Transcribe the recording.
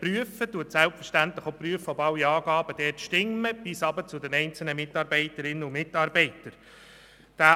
Er prüft selbstverständlich auch, ob alle dort gemachten Angaben, auch über die einzelnen Mitarbeiterinnen und Mitarbeiter, stimmen.